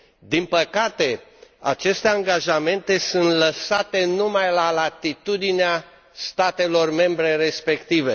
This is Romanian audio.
Din păcate, aceste angajamente sunt lăsate numai la latitudinea statelor membre respective.